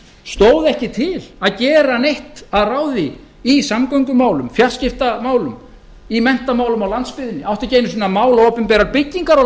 stóð ekki ekki til að gera neitt að ráði í samgöngumálum fjarskiptamálum í menntamálum á landsbyggðinni átti ekki einu sinni að mála opinberar byggingar á